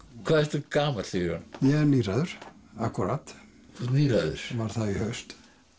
hvað ertu gamall Sigurjón ég er níræður akkúrat þú ert níræður varð það í haust